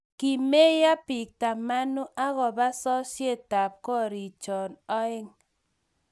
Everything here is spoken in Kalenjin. kimeyo biik tamanu akobo sosyetab koriik cho oeng'